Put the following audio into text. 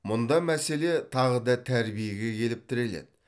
мұнда мәселе тағы да тәрбиеге келіп тіреледі